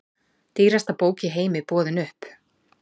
Dýrasta bók í heimi boðin upp